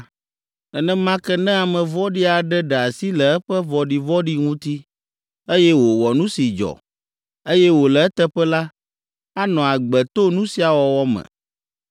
Nenema ke ne ame vɔ̃ɖi aɖe ɖe asi le eƒe vɔ̃ɖivɔ̃ɖi ŋuti, eye wòwɔ nu si dzɔ, eye wòle eteƒe la, anɔ agbe to nu sia wɔwɔ me.